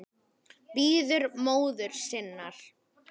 Bíður móður sinnar.